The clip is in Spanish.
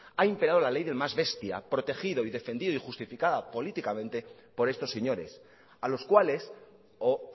ha imperado la ley del más bestia protegido y defendido y justificada políticamente por estos señores a los cuales o